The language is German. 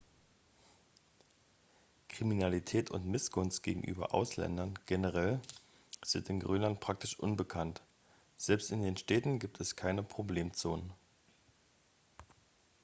kriminalität und missgunst gegenüber ausländern generell sind in grönland praktisch unbekannt selbst in den städten gibt es keine problemzonen